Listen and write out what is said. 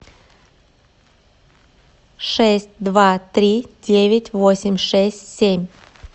шесть два три девять восемь шесть семь